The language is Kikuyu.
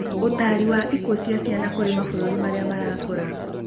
ũtari wa ikuũ cia ciana kũrĩ mabũrũri marĩa marakũra